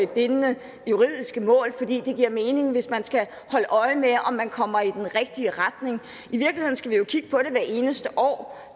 bindende juridiske mål for det giver mening hvis man skal holde øje med om man kommer i den rigtige retning i eneste år og